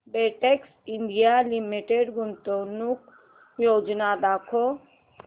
Betex India limited गुंतवणूक योजना दाखव